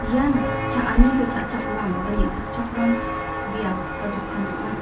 ian cha·aniko cha·chakram ba neng·takchakram biap ba dokan ong·a.